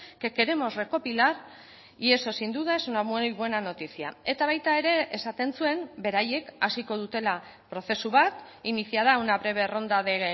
que queremos recopilar y eso sin duda es una muy buena noticia eta baita ere esaten zuen beraiek hasiko dutela prozesu bat iniciará una breve ronda de